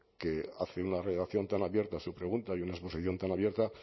que hace una redacción tan abierta a su pregunta y una exposición tan abierta